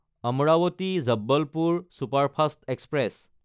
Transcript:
Amravati-Jabalpur superfast express